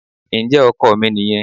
Ǹjẹ́ ọkọ̀ mi nìyẹn.